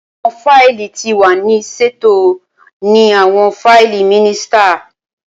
Awọn faili ti wa ni ṣeto ni awọn faili minisita